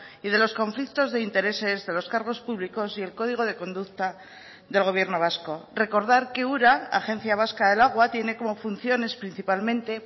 y de los conflictos de intereses de los cargos públicos y el código de conducta del gobierno vasco recordar que ura agencia vasca del agua tiene como funciones principalmente